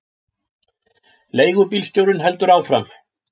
Leigubílstjórinn heldur áfram.